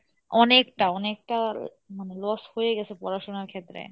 অনেকটা অনেকটা মানে loss হয়ে গেসে পড়াশোনার ক্ষেত্রে।